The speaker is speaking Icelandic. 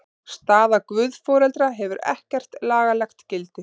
Staða guðforeldra hefur ekkert lagalegt gildi.